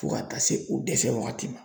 Fo ka taa se u dɛsɛ wagati ma.